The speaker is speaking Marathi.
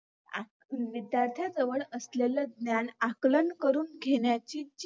विध्यार्थांजवळ असलेल ज्ञान आकलन करून घेण्याची जी